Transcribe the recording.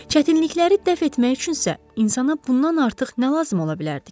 Çətinlikləri dəf etmək üçünsə insana bundan artıq nə lazım ola bilərdi ki?